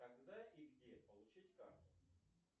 когда и где получить карту